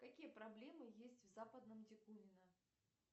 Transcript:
какие проблемы есть в западном дегунино